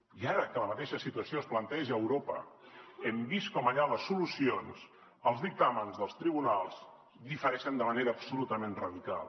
i ara que la mateixa situació es planteja a europa hem vist com allà les solucions els dictàmens dels tribunals difereixen de manera absolutament radical